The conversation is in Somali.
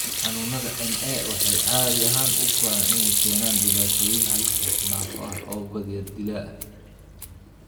Xanuunada NA waxay caadi ahaan u koraan inay keenaan dhibaatooyin halis ah, naafo ah oo badiyaa dilaa ah.